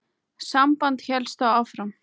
Samband hélst þó áfram.